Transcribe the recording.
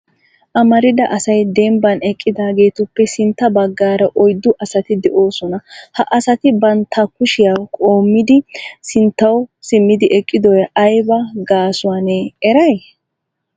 Amarida asay dembban eqqidaageetuppe sintta baggaara oyddu asati de'oosona. Ha asati bantta kushiyaa qumayidi sinttawu simmidi eqidoy aybba gaasuwanne eray?